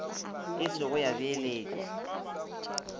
e se go ya beeletšwa